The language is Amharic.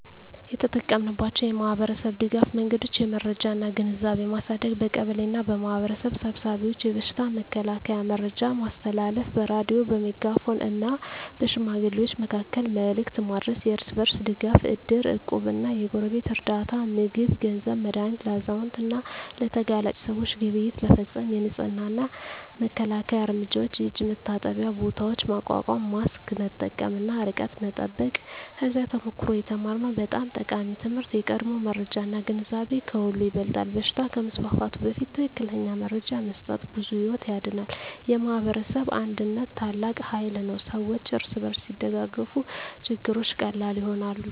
የተጠቀማችንባቸው የማኅበረሰብ ድጋፍ መንገዶች የመረጃ እና ግንዛቤ ማሳደግ በቀበሌ እና በማኅበረሰብ ስብሰባዎች የበሽታ መከላከያ መረጃ ማስተላለፍ በሬዲዮ፣ በሜጋፎን እና በሽማግሌዎች መካከል መልዕክት ማድረስ የእርስ በርስ ድጋፍ እድር፣ እቁብ እና የጎረቤት ርዳታ (ምግብ፣ ገንዘብ፣ መድሃኒት) ለአዛውንት እና ለተጋላጭ ሰዎች ግብይት መፈፀም የንፅህና እና መከላከያ እርምጃዎች የእጅ መታጠቢያ ቦታዎች ማቋቋም ማስክ መጠቀም እና ርቀት መጠበቅ ከዚያ ተሞክሮ የተማርነው በጣም ጠቃሚ ትምህርት የቀድሞ መረጃ እና ግንዛቤ ከሁሉ ይበልጣል በሽታ ከመስፋፋቱ በፊት ትክክለኛ መረጃ መስጠት ብዙ ሕይወት ያድናል። የማኅበረሰብ አንድነት ታላቅ ኃይል ነው ሰዎች እርስ በርስ ሲደጋገፉ ችግሮች ቀላል ይሆናሉ።